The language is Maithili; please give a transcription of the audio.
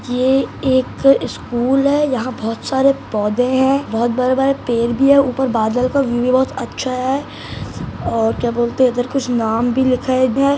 ये एक स्कूल है यहां बहुत सारे पौधे है बहोत बड़े-बड़े पेड़ भी है ऊपर बादल का व्यू भी बहोत अच्छा है और क्या बोलते है इधर कुछ नाम भी लिखा है इधर---